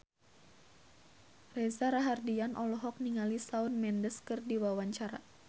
Reza Rahardian olohok ningali Shawn Mendes keur diwawancara